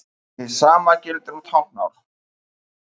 Hið sama gildir um táknmál.